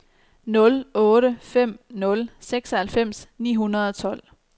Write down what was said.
nul otte fem nul seksoghalvfems ni hundrede og tolv